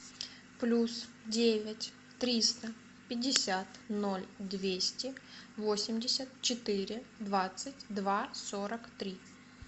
плюс девять триста пятьдесят ноль двести восемьдесят четыре двадцать два сорок три